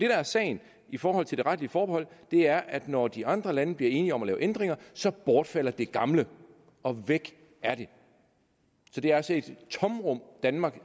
er sagen i forhold til det retlige forbehold er at når de andre lande bliver enige om at lave ændringer så bortfalder det gamle og væk er det så det er altså et tomrum danmark